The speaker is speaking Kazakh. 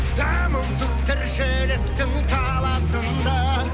дамылсыз тіршіліктің таласында